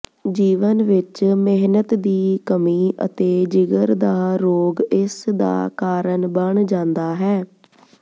ਜੀਵਨ ਵਿਚ ਮਿਹਨਤ ਦੀ ਕਮੀ ਅਤੇ ਜਿਗਰ ਦਾ ਰੋਗ ਇਸ ਦਾ ਕਾਰਨ ਬਣ ਜਾਂਦਾ ਹੈ